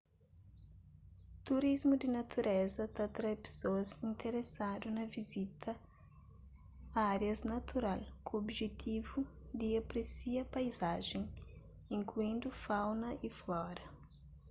turismu di natureza ta atrai pesoas interesadu na vizita árias natural ku objetivu di apresia paizajen inkluindu fauna y flora